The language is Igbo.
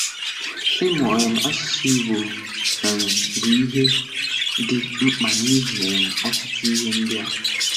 Ịmụ um asụsụ́ Ìgbò um bụ ihe dị mkpa n’ihi um ọtụtụ ihe ndị a: